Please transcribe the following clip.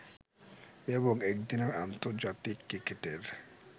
এবং একদিনের আন্তর্জাতিক ক্রিকেটের